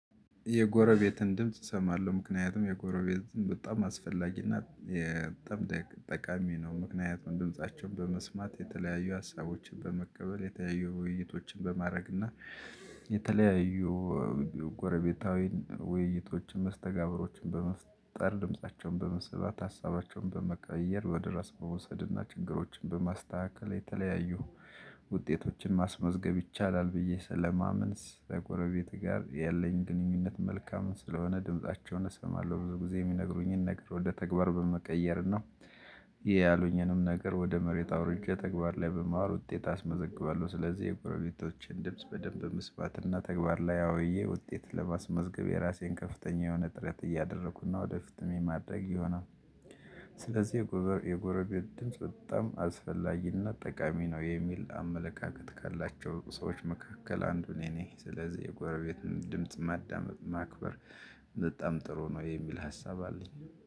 የጎረቤትን ድምጽ እሰማለሁ ምክንያቱም የጎረቤትን በጣም አስፈላጊና ጠቃሚ ነው። ምክንያቱም ድምፃቸውን በመስማት የተለያዩ ሀሳቦችን በመቀበል የተለያዩ ውይይቶችን በማድረግና የተለያዩ ጎረቤታዊ ውይይቶችን መስተጋብሮችን በመፍጠር ድምፃቸውን በመስበት ሀሳባቸውን በመቀየር ወደ ራስ መውሰድና ችግሮችን በማስተካከል የተለያዩ ውጤቶችን ማስመዝገብ ይቻላል ብዬ ለማመን ስለ ጎረቤት ጋር ያለኝ ግንኙነት መልካም ስለሆነ ድምፃቸውን እሰማለሁ ብዙ ጊዜ የሚነግሩኝን ነገር ወደ ተግባር በመቀየር ነው። ይሄ ያሉኝንም ነገር ወደ መሬት አውርጄ ተግባር ላይ በማወር ውጤት አስመዘግባለሁ። ስለዚህ የጎረሌቶችን ድምጽ በደንብ መስባትና ተግባር ላይ አውዬ ውጤት ለማስመዝገብ የራሴን ከፍተኛ የሆነ ጥረት እያደረኩና ወደፊትም የማድረግ ይሆናል። ስለዚህ የጎረቤት ድምጽ በጣም አስፈላጊነት ጠቃሚ ነው የሚል አመለካከት ካላቸው ሰዎች መካከል አንዱ እኔ ነኝ። ስለዚህ የጎረቤትን ድምጽ ማዳመፅ ማክበር በጣም ጥሩ ነው የሚል ሀሳብ አለኝ